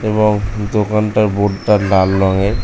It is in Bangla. এবং দোকানটার বোর্ড টা লাল রঙের।